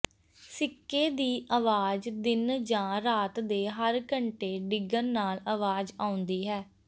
ਸਿੱਕੇ ਦੀ ਆਵਾਜ਼ ਦਿਨ ਜਾਂ ਰਾਤ ਦੇ ਹਰ ਘੰਟੇ ਡਿੱਗਣ ਨਾਲ ਆਵਾਜ਼ ਆਉਂਦੀ ਹੈ